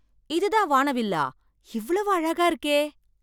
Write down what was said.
இது தான் வானவில்லா! இவ்வளவு அழகா இருக்கே!